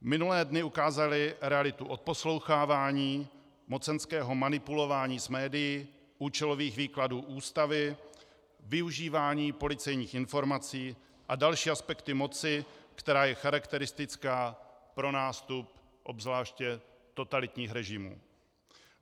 Minulé dny ukázaly realitu odposlouchávání, mocenského manipulování s médii, účelových výkladů Ústavy, využívání policejních informací a další aspekty moci, která je charakteristická pro nástup obzvláště totalitních režimů.